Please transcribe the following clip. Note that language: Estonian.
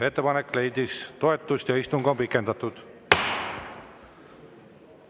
Ettepanek leidis toetust ja istung on pikendatud.